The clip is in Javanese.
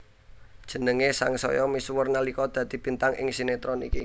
Jenengé sangsaya misuwur nalika dadi bintang ing sinetron iki